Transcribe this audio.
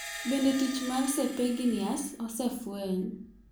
Bende tich mar serpiginous osefweny.